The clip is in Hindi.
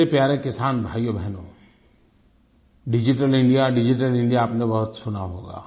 मेरे प्यारे किसान भाइयो और बहनो डिजिटल इंडिया डिजिटल इंडिया आपने बहुत सुना होगा